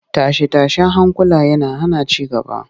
Tashe-tashen hankula yana hana ci gaba